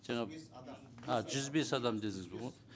жаңа жүз бес адам а жүз бес адам дедіңіз бе вот